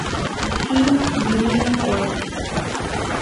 фильм денежный поезд